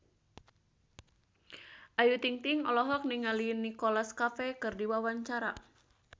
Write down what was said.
Ayu Ting-ting olohok ningali Nicholas Cafe keur diwawancara